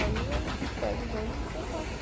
Aí eu pego os ônibus e é fácil.